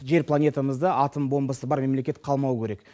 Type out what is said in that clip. жер планетамызда атом бомбасы бар мемлекет қалмауы керек